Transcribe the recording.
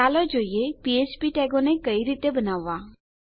ચાલો જોઈએ ફ્ફ્પ ટેગોને કઈ રીતે બનાવવા